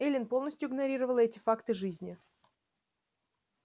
эллин полностью игнорировала эти факты жизни